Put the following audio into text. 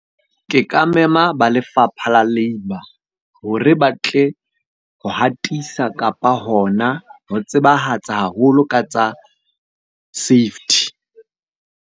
Ke ka mema ba lefapha la labour, hore ba tle ho hatisa kapa hona ho tsebahatsa haholo ka tsa safety.